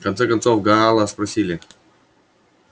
в конце концов гаала спросили